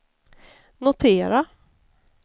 notera